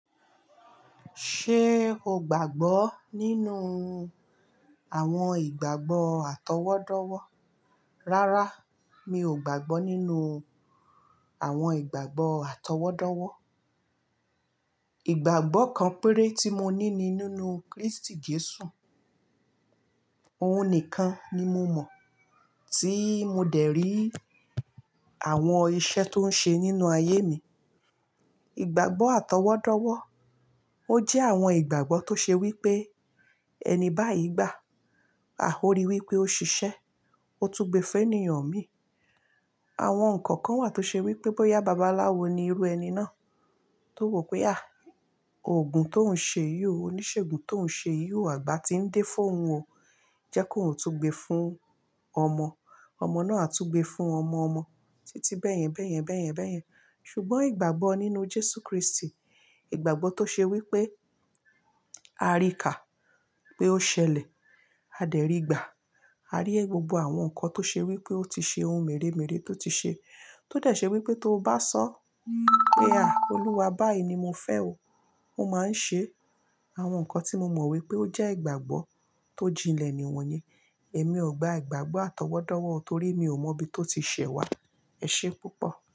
Ṣé o gbàgbọ́ nínú àwọn ìgbàgbọ́ àtọwọ́dọ́wọ́? Rárá, mi ò gbàgbọ́ nínú àwọn ìgbàgbọ́ àtọwọ́dọ́wọ́. Ìgbàgbọ́ kan péré tí mo ní ni nínú Kristi Jesu, òun nìkan ni mo mọ̀ tí mo dẹ̀ rí àwọn iṣẹ́ tó ń ṣe nínú ayé mi. Ìgbàgbọ́ àtọwọ́dọ́wọ́, ó jẹ́ àwọn ìgbàgbọ́ tó ṣe wí pé ẹni báyìí gbà, a o ri wí pé ó ṣiṣẹ́, ó tú gbé fún ènìyàn mi. Àwọn nǹkan kan wà tó ṣe wí pé bóyá babaláwo ni irú ẹni náà tó wò pé à, ògùn tó ń ṣe yó, oníṣègùn tó ń ṣe yó, àgbà tí ń dé fún òun ò jẹ́ kó tú gbé fún ọmọ, ọmọ náà tú gbé fún ọmọ-ọmọ, títí bẹ́ẹ̀yẹn bẹ́ẹ̀yẹn bẹ́ẹ̀yẹn bẹ́ẹ̀yẹn. Ṣùgbọ́n ìgbàgbọ́ nínú Jesu Kristi, ìgbàgbọ́ tó ṣe wí pé a rí ká pé ó ṣẹlẹ̀, a dẹ̀ rí gbà, a rí ẹ gbogbo àwọn nǹkan tó ṣe wí pé ó ti ṣe ohun mèremère tó ti ṣe, tó dẹ̀ ṣe wí pé tó bá sọ pé à Olúwa báyìí ni mo fẹ́ o, ó máa ń ṣe àwọn nǹkan tí mo mọ̀ wí pé ó jẹ́ ìgbàgbọ́ tó jinlẹ̀ nìwọ̀nyẹn. Èmi ò gba ìgbàgbọ́ àtọwọ́dọ́wọ́ torí mi ò mọ bí tó ti ṣẹ̀ wá. Ẹ ṣe púpọ̀.